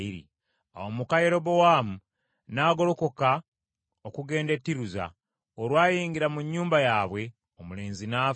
Awo muka Yerobowaamu n’agolokoka okugenda e Tiruza. Olwayingira mu nnyumba yaabwe, omulenzi n’afa.